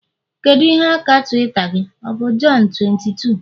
kedu ihe aka Twitter gị, ọ bụ john22?